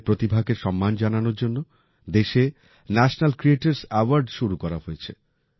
এঁদের প্রতিভাকে সম্মান জানানোর জন্য দেশে ন্যাশনাল ক্রিয়েটর্স অ্যাওয়ার্ড শুরু করা হয়েছে